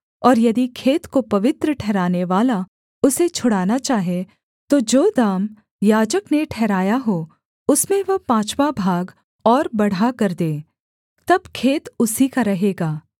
और यदि खेत को पवित्र ठहरानेवाला उसे छुड़ाना चाहे तो जो दाम याजक ने ठहराया हो उसमें वह पाँचवाँ भाग और बढ़ाकर दे तब खेत उसी का रहेगा